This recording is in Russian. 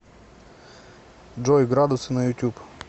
джой градусы на ютюб